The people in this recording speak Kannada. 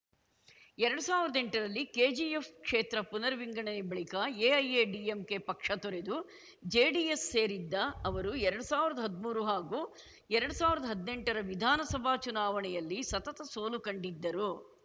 ಎರಡ್ ಸಾವಿರ್ದಾ ಎಂಟರಲ್ಲಿ ಕೆಜಿಎಫ್‌ ಕ್ಷೇತ್ರ ಪುನರ್‌ವಿಂಗಡನೆ ಬಳಿಕ ಎಐಎಡಿಎಂಕೆ ಪಕ್ಷ ತೊರೆದು ಜೆಡಿಎಸ್‌ ಸೇರಿದ್ದ ಅವರು ಎರಡ್ ಸಾವಿರ್ದಾ ಹದ್ಮೂರು ಹಾಗೂ ಎರಡ್ ಸಾವಿರ್ದಾ ಹದ್ನೆಂಟರ ವಿಧಾನಸಭಾ ಚುನಾವಣೆಯಲ್ಲಿ ಸತತ ಸೋಲು ಕಂಡಿದ್ದರು